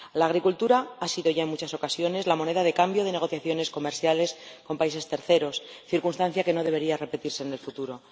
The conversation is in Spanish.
La agricultura ha sido ya, en muchas ocasiones, la moneda de cambio de negociaciones comerciales con países terceros, circunstancia que no debería repetirse en el futuro.